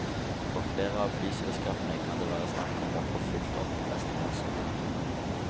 For flere av flyselskapene kan det være snakk om å få fylt opp restplasser.